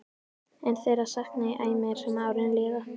En þeirra sakna ég æ meir sem árin líða.